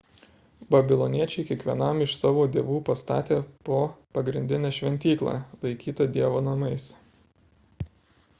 babiloniečiai kiekvienam iš savo dievų pastatė po pagrindinę šventyklą laikytą dievo namais